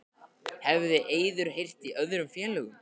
Hefur Eiður heyrt í öðrum félögum?